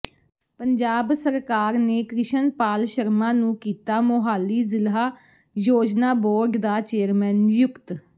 ਪੰਜਾਬ ਸਰਕਾਰ ਨੇ ਕ੍ਰਿਸ਼ਨਪਾਲ ਸ਼ਰਮਾ ਨੂੰ ਕੀਤਾ ਮੋਹਾਲੀ ਜ਼ਿਲ੍ਹਾ ਯੋਜਨਾ ਬੋਰਡ ਦਾ ਚੇਅਰਮੈਨ ਨਿਯੁਕਤ